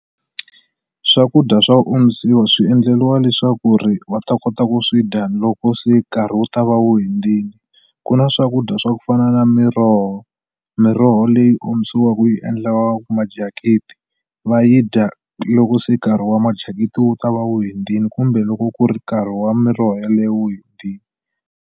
Swakudya swa omisiwa swi endleliwa leswaku ri va ta kota ku swi dya loko se nkarhi wu ta va wu hundzini ku na swakudya swa ku fana na miroho miroho leyi omisiweke yi endliwaku va yi dya loko se nkarhi wa wu ta va wu hundzini kumbe loko ku ri nkarhi wa miroho yeleyo wu .